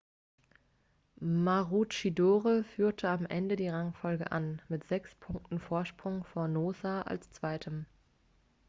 maroochydore führte am ende die rangfolge an mit sechs punkten vorsprung vor noosa als zweitem